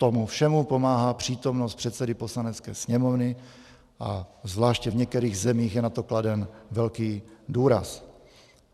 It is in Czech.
Tomu všemu pomáhá přítomnost předsedy Poslanecké sněmovny a zvláště v některých zemích je na to kladen velký důraz.